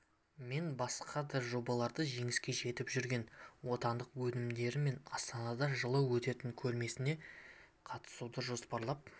мен басқа да жобаларда жеңіске жетіп жүрген отандық өнімдерімен астанада жылы өтетін көрмесіне қатысуды жоспарлап